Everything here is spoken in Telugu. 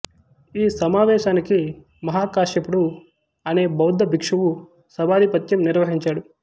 ఈ సమావేశానికి మహాకాశ్యపుడు అనే బౌద్ధ భిక్షువు సభాధిపత్యం నిర్వహించాడు